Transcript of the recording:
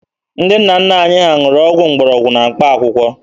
Ndị nna nna anyị ha ṅụrụ ọgwụ mgbọrọgwụ na mkpaakwụkwọ.